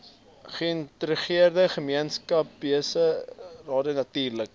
geïntegreerde gemeenskapsgebaseerde natuurlike